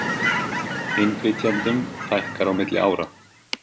Innflytjendum fækkar á milli ára